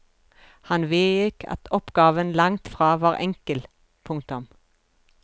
Han vedgikk at oppgaven langt fra var enkel. punktum